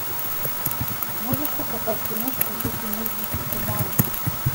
можешь показать киношку в духе мультиков по манге